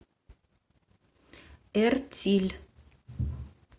эртиль